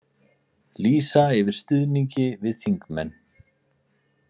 Lýsa yfir stuðningi við þingmenn